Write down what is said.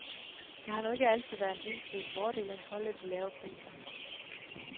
Det har nu ikke altid været en entydig fordel at holde de lave priser.